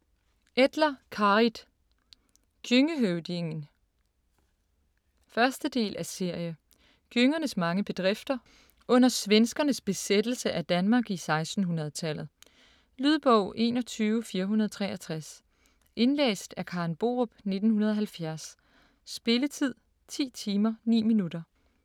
Etlar, Carit: Gjøngehøvdingen 1. del af serie. Gjøngernes mange bedrifter under svenskernes besættelse af Danmark i 1600-tallet. Lydbog 21463 Indlæst af Karen Borup, 1970. Spilletid: 10 timer, 9 minutter.